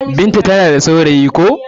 Binta ta na da saurayi ko.